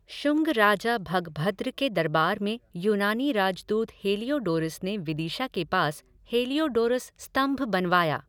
शुंग राजा भगभद्र के दरबार में यूनानी राजदूत हेलियोडोरस ने विदिशा के पास हेलियोडोरस स्तंभ बनवाया।